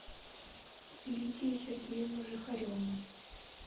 лидию сергеевну жихареву